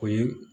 O ye